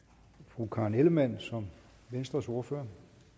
fru karen ellemann som venstres ordfører